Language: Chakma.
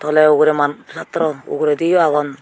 tole ugure maan satra uguredio agon.